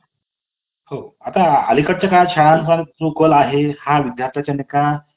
पाच minute जरी आपण तिच्यासोबत अं बोलो तरी आपल्याला वाटते कि आपले सगळे problem soul झाले आहेत आणि तिच्या